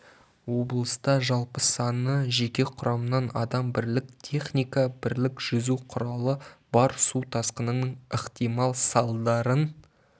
облыста жалпы саны жеке құрамнан адам бірлік техника бірлік жүзу құралы бар су тасқынының ықтимал салдарын